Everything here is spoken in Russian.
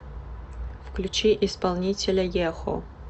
включи исполнителя ехо